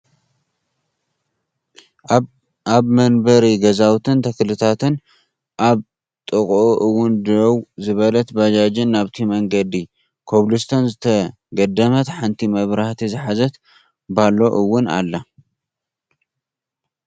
ኣብ መንበሪ ገዛውትን ተክልታትን ኣብ ጥቅኡ እውን ደው ዝበለት ባጃጅን ናብቲ መንገዲ ኮብልስቶን ዝተገደመት ሓንቲ መብራህቲ ዝሓዘት ባሎ እውን ኣላ።